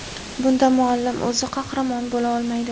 Bunda muallim o‘zi qahramon bo‘la olmaydi.